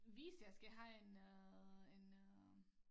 Hvis jeg skal have en øh en øh